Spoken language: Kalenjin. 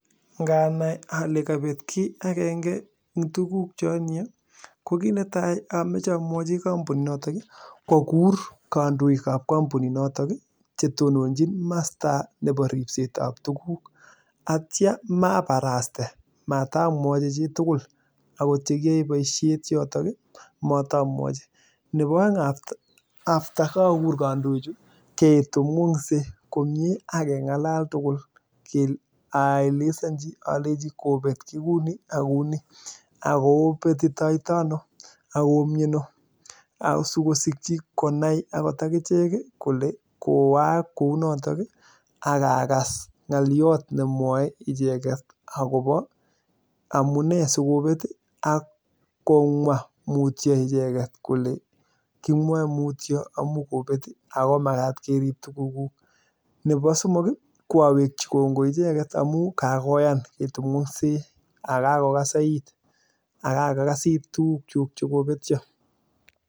Nganai ale kabet kiy agenge eng tuguk che atinye, ko kit netai amoche amwoi kampuninotok kogirur kandoikab kampuninoto chetononjin masta nebo ripsetab tuguk atya mabaraste. Matamwochi chitugul agot cheyoe boisiet yotok matamwochi. Nebo aeng after ko kagur kandoichu ketononse komie ak kengalal tugul aelesanji kole kobekyi kuni ak kuni ago kobetitoito ano ago koomiano. Asikosikyi konai ogot akichek kole kowaak kounotok ak agas ngoliot nemwoe icheget agobo amune sigobet ak komwa mutyo icheget kole kimwae mutyo amukobet, ago magat kerib tugukuk. Nebo somok ko awekchi kongoi icheget amu kakoyan ketononsei ago kakokasa it ago kakokasit tugukchuk che kobetio.